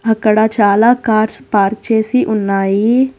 అక్కడ చాలా cars park చేసి ఉన్నాయి.